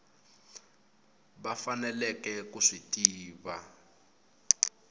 va faneleke ku swi tiva